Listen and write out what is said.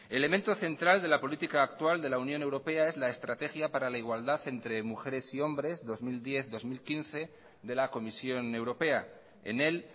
elemento central de la política actual de la unión europea es la estrategia para la igualdad entre mujeres y hombres dos mil diez dos mil quince de la comisión europea en él